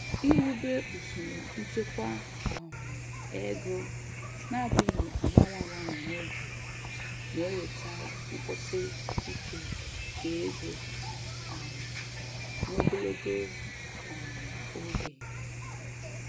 Iwube usoro nchekwa um ego na-adịghị agbanwe agbanwe n'oge na-eweta nkwụsi ike nke ego um n'ogologo um oge.